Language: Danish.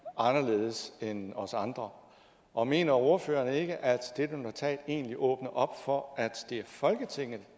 anderledes end os andre og mener ordføreren ikke at dette notat egentlig åbner op for at det er folketinget